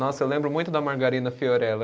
Nossa, eu lembro muito da margarina Fiorella.